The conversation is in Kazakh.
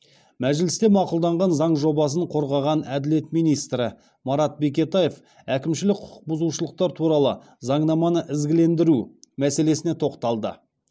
мәжілісте мақұлданған заң жобасын қорғаған әділет министрі марат бекетаев әкімшілік құқық бұзушылықтар туралы заңнаманы ізгілендіру мәселесіне тоқталды